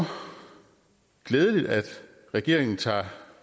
glædeligt at regeringen tager